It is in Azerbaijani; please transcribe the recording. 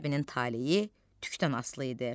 Qız məktəbinin talehi tükdən asılı idi.